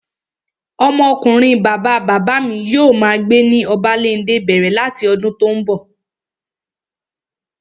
Ọmọ ọkunrin bàbá bàbá mi yóò máa gbé ní Obalende bẹ̀rẹ̀ láti ọdún tó n bọ̀